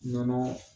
Nɔnɔ